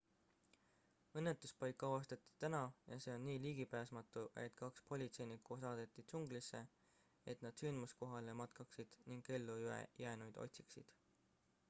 õnnetuspaik avastati täna ja see on nii ligipääsmatu et kaks politseinikku saadeti džunglisse et nad sündmuskohale matkaksid ning ellujäänuid otsiksid